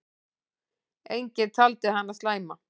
Enginn taldi hana slæma.